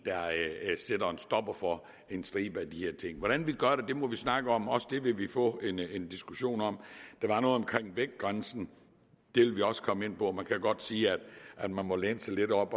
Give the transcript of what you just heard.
stopper for en stribe af de her ting hvordan vi gør det må vi snakke om også det vil vi få en diskussion om der var noget omkring vægtgrænsen det vil vi også komme ind på man kan godt sige at man må læne sig lidt op